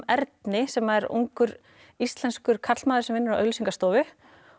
Erni sem er ungur íslenskur karlmaður sem vinnur á auglýsingastofu